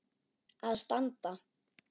að standa.